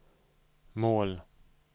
mål